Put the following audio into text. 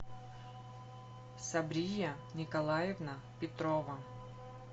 сабрия николаевна петрова